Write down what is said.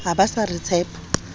ha ba sa re tshepa